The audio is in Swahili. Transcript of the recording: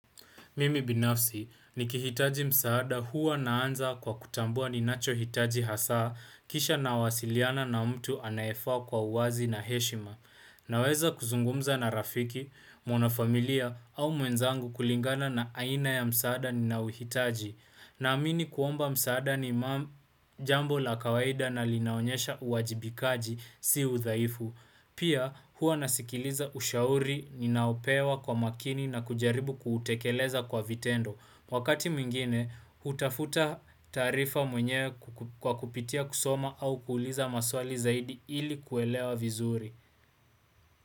Mimi binafsi ni kihitaji msaada huwa naanza kwa kutambua ni nacho hitaji hasaa kisha na wasiliana na mtu anayefaa kwa uwazi na heshima. Na weza kuzungumza na rafiki, mwana familia au mwenzangu kulingana na aina ya msaada ni naouhitaji. Na amini kuomba msaada ni majambo la kawaida na linaonyesha uwajibikaji si udhaifu. Pia hua nasikiliza ushauri, ninaopewa kwa makini na kujaribu kuutekeleza kwa vitendo. Wakati mmingine, hutafuta taarifa mwenyewe kwa kupitia kusoma au kuuliza maswali zaidi ili kuelewa vizuri.